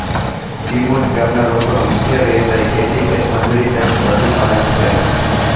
કિમોજ ગામના લોકોનો મુખ્ય વ્યવસાય ખેતી ખેતમજૂરી તેમ જ પશુપાલન છે